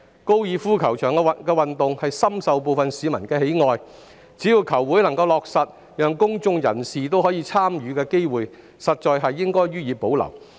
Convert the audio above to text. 高爾夫球運動深受部分市民喜愛，只要球會能夠落實讓公眾人士享有參與的機會，高爾夫球場應予以保留。